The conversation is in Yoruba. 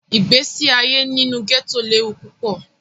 Igbesi aye ninu gẹto lewu pupọ.